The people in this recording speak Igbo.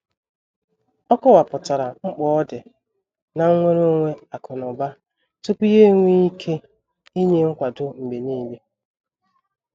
Ọ kọwapụtara mkpa ọdị na nnwere onwe akụ na ụba tupu ya enwee ike inye nkwado mgbe niile.